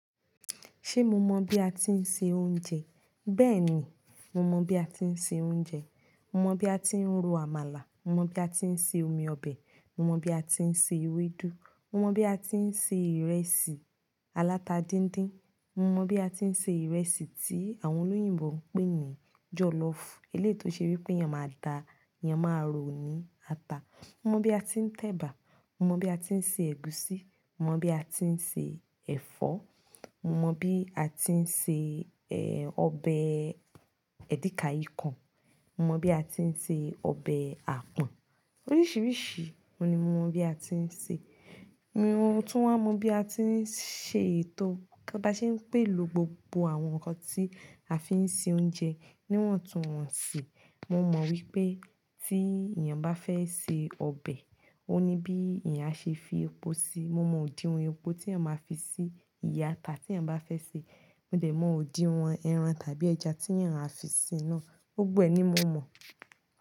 Ṣé mo mọ̀ bí a ti ń se oúnjẹ? Bẹ́ẹ̀ni, mo mọ̀ bí a ti ń se oúnjẹ. Mo mọ̀ bí a ti ń ro àmàlà, mo mọ̀ bí a ti ń se omi ọbẹ̀, mo mọ̀ bí a ti ń se ewédú, mo mọ̀ bí a ti ń se ìrẹsì aláta díndín, mo mọ̀n bí a ti ń se ìrẹsì tí àwọn olóyìnbo ń pè ní jọlọfu. Eléyi tò ṣe wípé eyán ma da, eyán ma rọ ní ata. Mo mọ̀ bí a ti ń tẹ̀bà, mo mọ̀n bí a ti ń se ẹ̀gúsí, mo mọ̀n bí a ti ń se ẹ̀fọ́, mo mọ̀n bí a ti ń se, eh, ọbẹ̀ edikaikong, mo mọ̀ bí a ti ń se ọbẹ̀ àpọ̀n. Oríṣìíríṣìí òun ni mo mọ̀ bí a ti ń se. Mo tun wa mọ̀n bí a ti ń ṣe ètò bá ṣe ń pèlò gbogbo àwọn nǹkan tí a fi ń se oúnjẹ níwọ̀ntúnwọ̀nsì. Mo mọ̀ wípé tí èèyàn bá fẹ́ se ọbẹ̀, ó ní bí èèyàn a ṣe fi epo sí i. Mo mọn òdin wọn epo tí èèyàn ma fi sí ìyá ata tí èèyàn bá fẹ́ sè. Mo dẹ̀ mọn òdin wọn ẹran tàbí ẹja tí èèyàn a fi sí na gbogbo ẹ ní mo mon.